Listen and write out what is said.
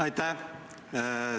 Aitäh!